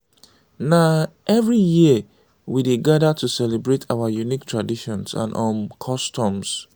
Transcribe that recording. na every year we dey gadir to celebrate our unique traditions and um customs.